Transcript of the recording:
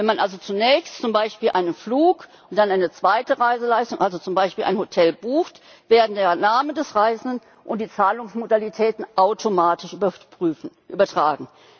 Wenn man also zunächst zum Beispiel einen Flug und dann eine zweite Reiseleistung, also zum Beispiel ein Hotel, bucht, werden der Name des Reisenden und die Zahlungsmodalitäten automatisch übertragen.